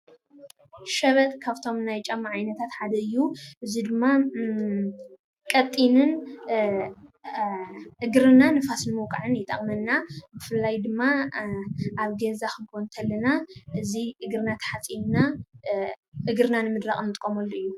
ሸበጥ ካብቶም ናይ ጫማ ዓይነት ሓደ እዩ ።እዚ ድማ ቀጢንን እግሪና ንፋስ ንምቋዕን ይጠቅመና። ብፍላይ ድማ ኣብ ገዛ ክንኮን እንተለና እዚ እግሪና ተሓፂብና እግሪና ንምድራቅ እንጥቀመሉ እዩ።